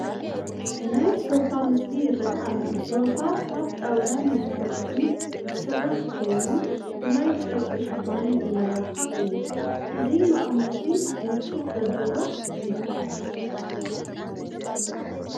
ናይ ሶፋ ምስሊ ይርአ ኣሎ፡፡ ሶፋ ካብ ጣውላን ስፖንጅን ዝስራሕ ኮይኑ ብናይ ጨርቂ ሽፋን ዝመላካዕ እዩ፡፡ እዚ መቐመጢ ምቾት ዘለዎ እዩ፡፡